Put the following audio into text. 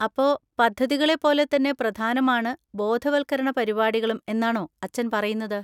അപ്പോ പദ്ധതികളെ പോലെത്തന്നെ പ്രധാനമാണ് ബോധവത്കരണ പരിപാടികളും എന്നാണോ അച്ഛൻ പറയുന്നത്?